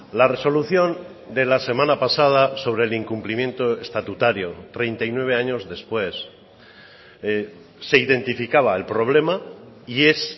la resolución de la semana pasada sobre el incumplimiento estatutario treinta y nueve años después se identificaba el problema y es